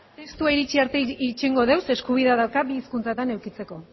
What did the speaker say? testua iritsi arte itxarongo dugu zeren eskubidea dauka bi hizkuntzatan edukitzeko